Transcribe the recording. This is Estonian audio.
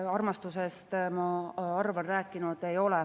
Ma armastusest, ma arvan, rääkinud ei ole.